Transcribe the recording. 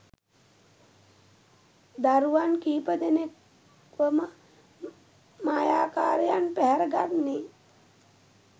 දරුවන් කිහිපදෙනෙක්වම මායාකාරියන් පැහැර ගන්නේ?